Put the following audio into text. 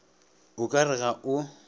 o ka re ga o